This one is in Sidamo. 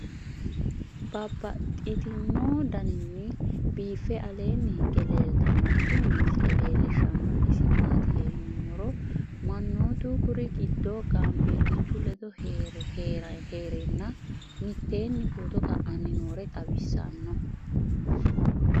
Babaxxittinno daninni biiffe aleenni hige leelittannotti tinni misile lelishshanori isi maattiya yinummoro manoottu kuri giddo gaanbelichu ledo heerenna mittenni footto ka'anni noore xawissanno